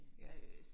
Ja